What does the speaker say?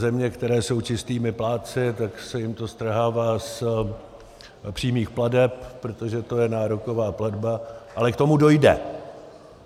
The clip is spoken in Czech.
Země, které jsou čistými plátci, tak se jim to strhává z přímých plateb, protože to je nároková platba, ale k tomu dojde.